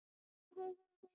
þeim leikum er nú nýlokið